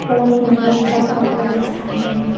और मिरर रखा हुआ है सामने--